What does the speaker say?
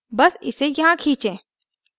बस इसे यहाँ खींचें